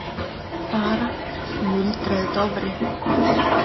Bara, muldraði Dofri.